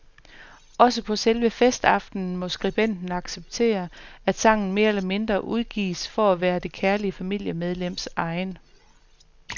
Også på selve festaftenen må skribenten acceptere, at sangen mere eller mindre udgives for at være det kærlige familiemedlems egen.